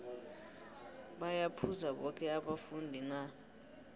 baya phuza boke abafundi na